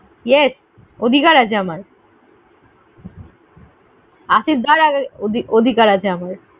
Yes! অধিকার আছে আমার। অধিকার আছে আমাদের।